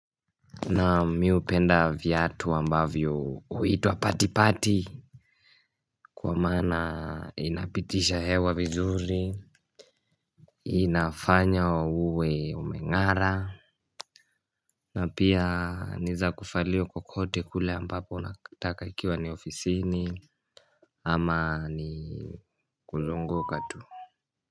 Naam, mimi hupenda viatu ambavyo huitwa patipati kwa maana inapitisha hewa vizuri, inafanya uwe umeng'ara na pia ni za kuvalia kokote kule ambapo unataka ikiwa ni ofisini ama ni kuzunguka tu.